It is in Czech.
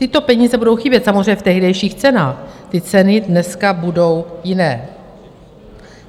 Tyto peníze budou chybět, samozřejmě v tehdejších cenách, ty ceny dneska budou jiné.